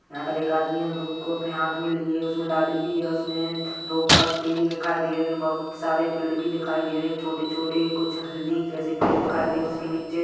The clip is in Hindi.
यहाँ पर एक आदमी अमरुद को अपने हाथ में लिए हुए उसमे डाली भी हैं उसमे दो पत्ते भी दिखाई दे रहे हैं बहुत सारे पेड़ भी दिखाई दे रहे हैं छोटे-छोटे कुछ हल्दी जैसे पेड़ दिखाई दे रहे हैं उसके नीचे--